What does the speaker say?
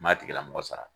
N m'a tigilamɔgɔ sara